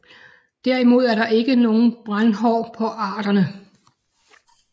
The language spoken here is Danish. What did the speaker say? Derimod er der ikke nogen brændhår på arterne